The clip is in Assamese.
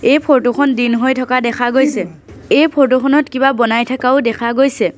এই ফটো খন দিন হৈ থকা দেখা গৈছে এই ফটো খনত কিবা বনাই থাকাও দেখা গৈছে।